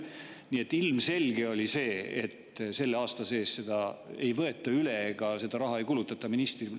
Nii et ilmselge oli, et selle aasta sees ei võeta seda üle ja seda raha ei kulutata.